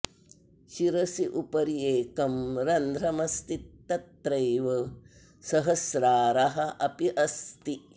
शिरसि उपरि एकं रन्ध्रम् अस्ति तत्रैव सहस्रारः अपि अस्ति